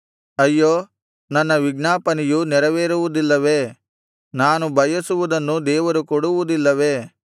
ಅಯ್ಯೋ ನನ್ನ ವಿಜ್ಞಾಪನೆಯು ನೆರವೇರುವುದಿಲ್ಲವೇ ನಾನು ಬಯಸುವುದನ್ನು ದೇವರು ಕೊಡುವುದಿಲ್ಲವೇ